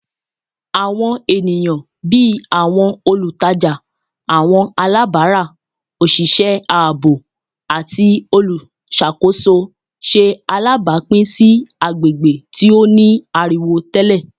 Awọn eniyan bii awọn olutaja, awọn alabara, oṣiṣẹ aabo, ati oluṣakoso ṣe alabapin si agbegbe ti o ni ariwo tẹlẹ